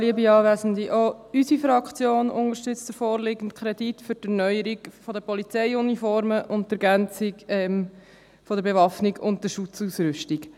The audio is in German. Auch unsere Fraktion unterstützt den vorliegenden Kredit für die Erneuerung der Polizeiuniformen sowie die Ergänzung der Bewaffnung und der Schutzausrüstung.